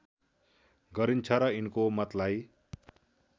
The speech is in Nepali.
गरिन्छ र यिनको मतलाई